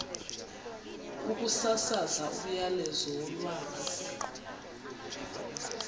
ukusasaza umyalezo wolwazi